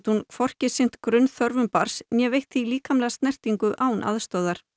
hún ekki sinnt grunnþörfum barns né veitt því líkamlega snertingu án aðstoðar